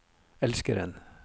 elskeren